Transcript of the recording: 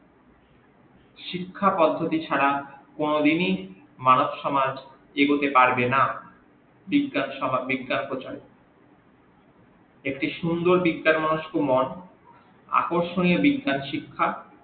শিক্ষা পধতি ছাড়া কোন দিনি মানব সমাজ এগুতে পারবে না বিজ্ঞান বিজ্ঞান প্রচার একটি সুন্দর বিজ্ঞান মনস্ক মন আকর্ষণীও বিজ্ঞান শিক্ষা